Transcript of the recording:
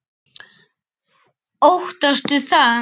Guðný: Óttastu það?